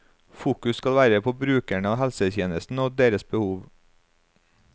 Fokus skal være på brukerne av helsetjenesten og deres behov.